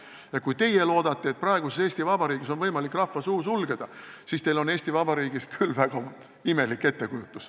Ja kui teie loodate, et praeguses Eesti Vabariigis on võimalik rahva suu sulgeda, siis on teil Eesti Vabariigist küll väga imelik ettekujutus.